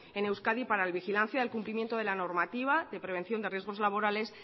en euskadi para la vigilancia del cumplimiento de la normativa de prevención de riesgos laborales